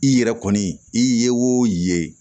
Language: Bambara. I yɛrɛ kɔni i ye o ye